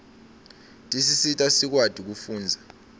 tisita sikwati kufundza